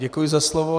Děkuji za slovo.